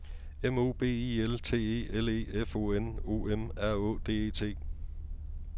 M O B I L T E L E F O N O M R Å D E T